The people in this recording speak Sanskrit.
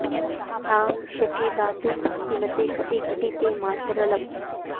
तां शचि दातुं भक्तिमते कापि घटी ते मातरलम्